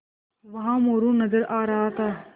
वहाँ मोरू नज़र आ रहा था